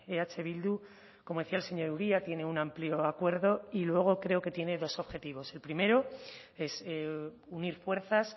eh bildu como decía el señor uria tiene un amplio acuerdo y luego creo que tiene dos objetivos el primero es unir fuerzas